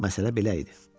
Məsələ belə idi.